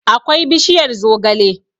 akwai bishiyar zogale